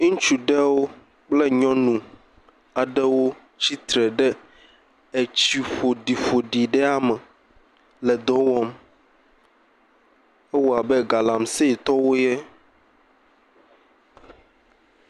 Ŋutsu aɖewo kple nyɔnu aɖewo tsi tre ɖe tsi ƒoɖiƒoɖi ɖe me le dɔ wɔm. Ewɔ abe galamsey tɔwoe.